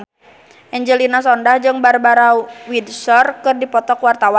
Angelina Sondakh jeung Barbara Windsor keur dipoto ku wartawan